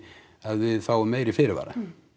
að við fáum meiri fyrirvara